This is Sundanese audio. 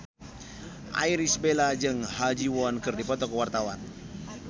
Irish Bella jeung Ha Ji Won keur dipoto ku wartawan